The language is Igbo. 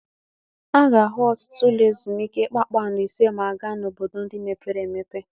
A ga-ahụ ọtụtụ ụlọ ezumike kpakpando ise ma a gaa n'obodo ndị mepere emepe.